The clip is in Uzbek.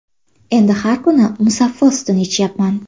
Endi har kuni Musaffo sutini ichayapman”.